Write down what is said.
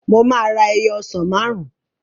Mo máa ra ẹyọ ọsàn máàrún